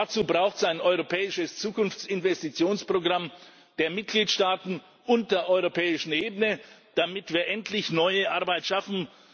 Dazu braucht es ein europäisches Zukunftsinvestitionsprogramm der Mitgliedstaaten und der europäischen Ebene, damit wir endlich neue Arbeit schaffen.